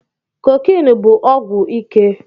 Kokènụ bụ ọgwụ ike